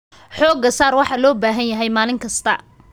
Xooga saar waxa loo baahan yahay maalin kasta.